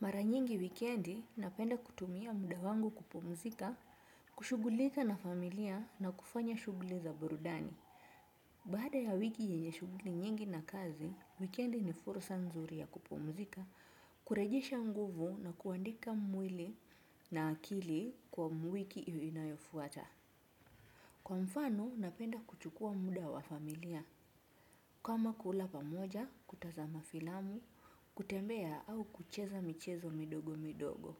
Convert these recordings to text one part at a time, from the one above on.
Mara nyingi wikendi napenda kutumia muda wangu kupumzika, kushughulika na familia na kufanya shughuli za burudani. Baada ya wiki yenye shughuli nyingi na kazi, wikendi ni fursa nzuri ya kupumzika, kurejesha nguvu na kuandika mwili na akili kwa mwiki inayofwata. Kwa mfano napenda kuchukua muda wa familia, kama kula pamoja, kutazama filamu, kutembea au kucheza michezo midogo midogo.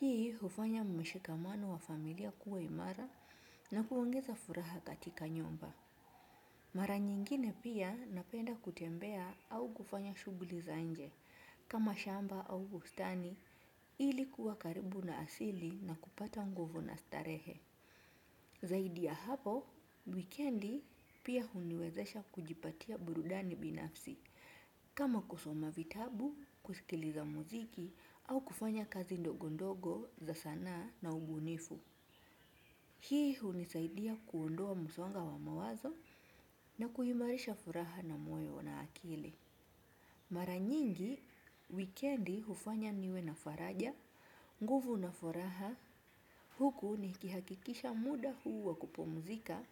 Hii hufanya mshikamano wa familia kuwa imara na kuongeza furaha katika nyumba. Mara nyingine pia napenda kutembea au kufanya shughuli za nje. Kama shamba au bustani, ili kuwa karibu na asili na kupata nguvu na starehe. Zaidi ya hapo, wikendi pia huniwezesha kujipatia burudani binafsi. Kama kusoma vitabu, kusikiliza muziki au kufanya kazi ndogo ndogo za sanaa na ubunifu. Hii hunisaidia kuondoa msongo wa mawazo na kuimarisha furaha na mweo na akili. Mara nyingi, wikendi hufanya niwe na faraja, nguvu na furaha. Huku nikihakikisha muda huu wa kupumzika,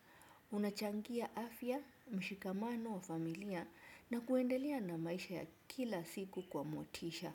unachangia afya, mshikamano wa familia na kuendelea na maisha ya kila siku kwa motisha.